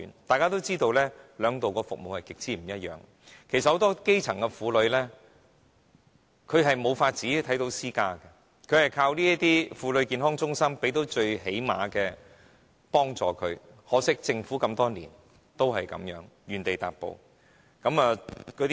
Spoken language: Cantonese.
大家也知道，兩者的服務極不相同，其實很多基層婦女無能力看私家醫生，她們只能依靠這些婦女健康中心提供最低限度的幫助，可惜，這麼多年來政府仍是原地踏步。